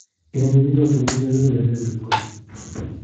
igonyi biik choto kuu chepyoso ne mache kochut go